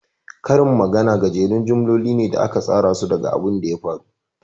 Karin magana gajerun jimloli ne da aka tsarasu daga abunda ya faru.